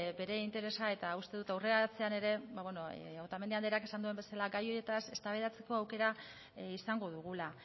bere interesa eta uste dut aurrerantzean ere otamendi andreak esan duen bezala gai horietaz eztabaidatzeko aukera izango dugula